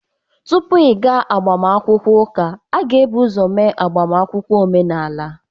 Tupu ịga agbamakwụkwọ ụka, a ga-ebu ụzọ mee agbamakwụkwọ omenala.